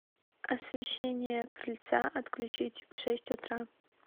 освещение крыльца отключить в шесть утра